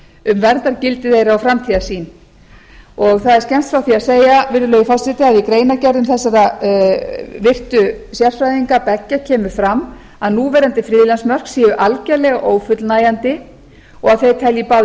um verndargildi þeirra og framtíðarsýn það er skemmst frá því að segja virðulegi forseti að í greinargerðum þessara virtu sérfræðinga beggja kemur fram að núverandi friðlandsmörk séu algjörlega ófullnægjandi og að þeir telji báðir